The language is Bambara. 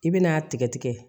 I bɛn'a tigɛ tigɛ